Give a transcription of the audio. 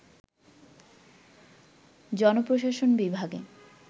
জন প্রশাসন বিভাগে